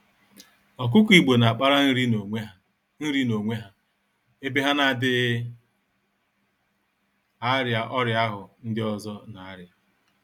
Ọkụkọ Igbo n'akpara nri n'onwe ha, nri n'onwe ha, ebe ha n'adịghị arịa ọrịa ahụ ndị ọzọ n'arịa